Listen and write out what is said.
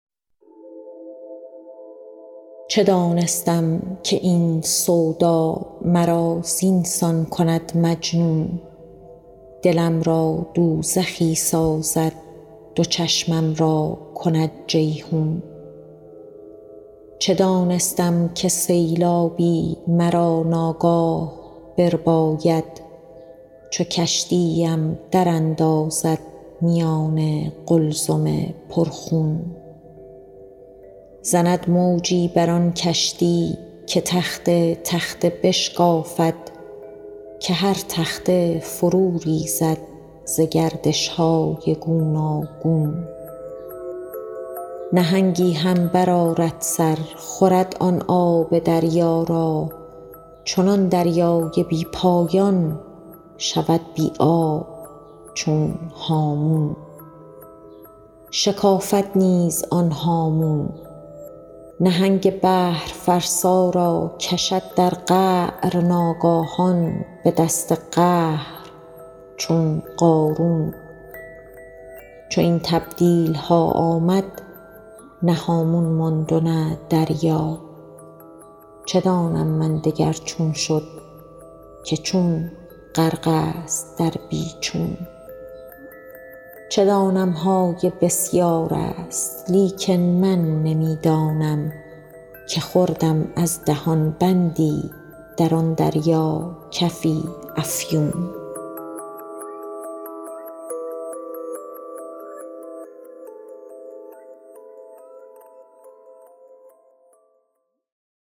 چه دانستم که این سودا مرا زین سان کند مجنون دلم را دوزخی سازد دو چشمم را کند جیحون چه دانستم که سیلابی مرا ناگاه برباید چو کشتی ام دراندازد میان قلزم پرخون زند موجی بر آن کشتی که تخته تخته بشکافد که هر تخته فروریزد ز گردش های گوناگون نهنگی هم برآرد سر خورد آن آب دریا را چنان دریای بی پایان شود بی آب چون هامون شکافد نیز آن هامون نهنگ بحرفرسا را کشد در قعر ناگاهان به دست قهر چون قارون چو این تبدیل ها آمد نه هامون ماند و نه دریا چه دانم من دگر چون شد که چون غرق است در بی چون چه دانم های بسیار است لیکن من نمی دانم که خوردم از دهان بندی در آن دریا کفی افیون